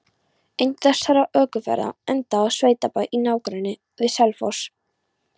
Ein þessara ökuferða endaði á sveitabæ í nágrenni við Selfoss.